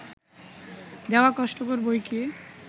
দেওয়া কষ্টকর বৈকি!